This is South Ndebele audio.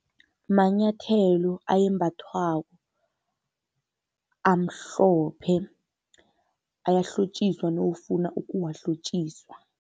Manyathelo ayembathwako, amhlophe, ayahlotjiswa nawufuna ukuwahlotjiswa.